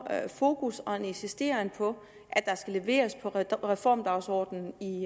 fokus og en insisteren på at der skal leveres på reformdagsordenen i